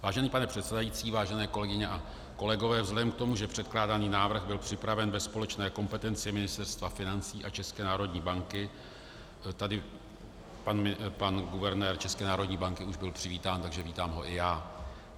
Vážený pane předsedající, vážené kolegyně a kolegové, vzhledem k tomu, že předkládaný návrh byl připraven ve společné kompetenci Ministerstva financí a České národní banky, tady pan guvernér České národní banky už byl přivítán, takže vítám ho i já.